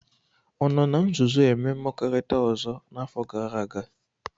Ọ nọ na nzuzo eme mmekorita ọzọ n'afọ gara aga?